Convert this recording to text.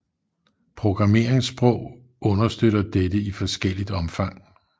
Programmeringssprog understøtter dette i forskelligt omfang